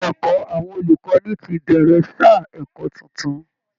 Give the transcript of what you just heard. Ilé ẹ̀kọ́ àwọn olùkọ́ni ti bẹ̀rẹ̀ sáà ẹ̀kọ́ tuntun